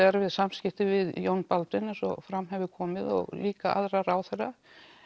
erfið samskipti við Jón Baldvin eins og fram hefur komið og líka aðra ráðherra